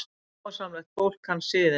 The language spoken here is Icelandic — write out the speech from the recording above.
Sómasamlegt fólk kann siðina.